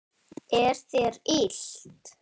Er þér illt?